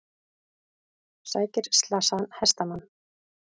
Sækir slasaðan hestamann